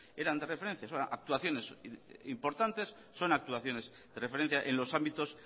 eran de referencias actuaciones importantes son actuaciones de referencia en los ámbitos